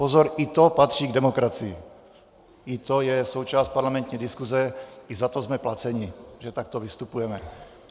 Pozor, i to patří k demokracii, i to je součást parlamentní diskuze, i za to jsme placeni, že takto vystupujeme.